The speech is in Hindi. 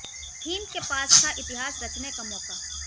थीम के पास था इतिहास रचने का मौका